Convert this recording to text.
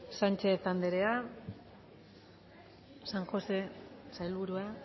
sánchez anderea san josé sailburua